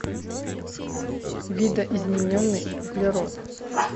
видоизмененный углерод